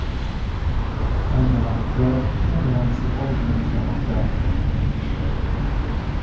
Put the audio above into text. Ayni vaqtda u bilan psixologlar ishlamoqda.